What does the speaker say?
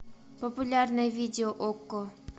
популярное видео окко